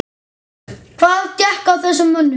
Hvað gekk að þessum mönnum?